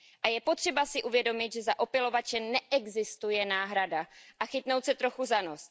Je potřeba si uvědomit, že za opylovače neexistuje náhrada, a chytnout se trochu za nos.